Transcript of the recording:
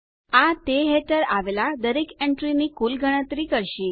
આ તે હેઠળ આવેલ દરેક એન્ટ્રીની કુલ ગણતરી કરશે